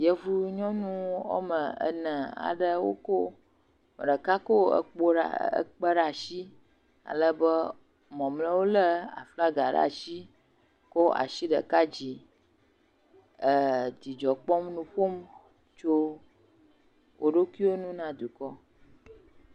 Yevunyɔnu woame ene aɖewo ko ame ɖeka ko ekpo ekpe ɖe asi alebe mɔmleawo lé aflaga ɖe asi kɔ asi ɖeka yi dzi. Le dzidzɔ kpɔm tso wo ɖokuiwo ŋu na dukɔa.